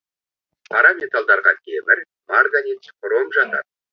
қара металлдарға темір марганец хром жатады